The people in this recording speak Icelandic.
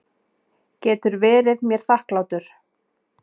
Getur verið mér þakklátur.